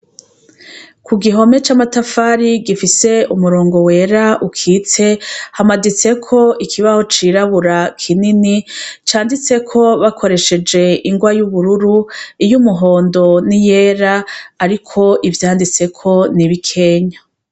Ku gihome c'amatafari gifise umurongo wera ukitse hamaditseko ikibaho cirabura kinini canditseko bakoresheje ingwa y'ubururu, iy'umuhondo n'iyera, ariko ivyanditseko ni bikenya.